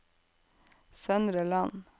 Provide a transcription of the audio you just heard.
Søndre Land